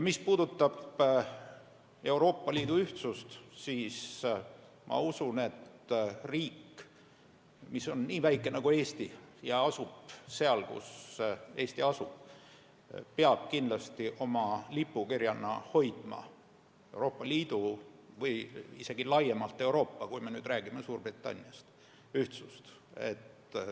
Mis puudutab Euroopa Liidu ühtsust, siis ma usun, et riik, mis on nii väike nagu Eesti ja mis asub seal, kus Eesti asub, peab kindlasti oma lipukirjana hoidma Euroopa Liidu ühtsust või isegi laiemalt Euroopa ühtsust, kui me peame silmas Suurbritannias toimuvat.